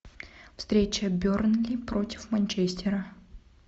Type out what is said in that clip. встреча бернли против манчестера